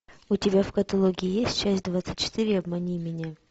у тебя в каталоге есть часть двадцать четыре обмани меня